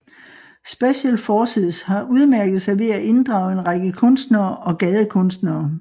Special Forces har udmærket sig ved at inddrage en række kunstnere og gadekunstnere